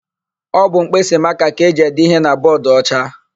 Ọ bụ mkpịsịmakaa ka e ji ede íhé na bọọdụocha.